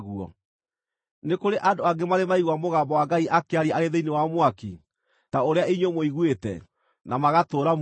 Nĩ kũrĩ andũ angĩ marĩ maigua mũgambo wa Ngai akĩaria arĩ thĩinĩ wa mwaki, ta ũrĩa inyuĩ mũiguĩte, na magatũũra muoyo?